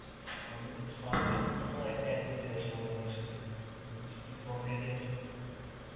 পাল্টে অন্য number অ্যাঁ add করতে চাইছি আমার bank এর সাথে. তো কি faomality আছে?